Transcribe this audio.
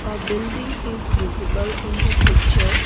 a building is visible in the picture.